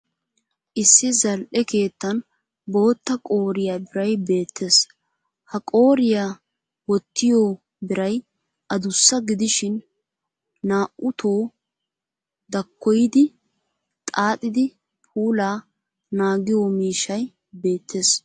Issi zal'e keettan bootta qooriya biray beettes. Ha qooriya wottiyo biray adussa gidishin naa'utto dakkoyidi xaaxidi puulaa naagiyo miishshay beettes.